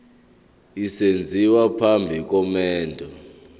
esenziwa phambi komendo